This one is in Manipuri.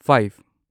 ꯐꯥꯢꯚ